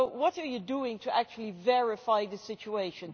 So what are you doing to actually verify the situation?